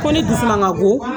Ko ne dusuman ka go